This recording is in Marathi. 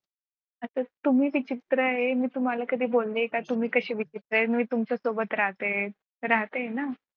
आता तुम्ही विचित्र आहे मी तुम्हाला कधी बोलले आहे का तुम्ही कसे विचित्र आहे म्हणून मी तुमच्यासोबत राहते राहते आहे ना.